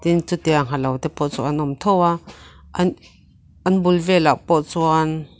chutiang ha lote pawh chu an awm tho va an an bul velah pawh chuan --